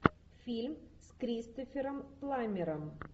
фильм с кристофером пламмером